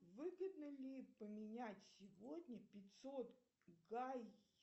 выгодно ли поменять сегодня пятьсот гай